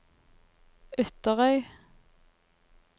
Ytterøy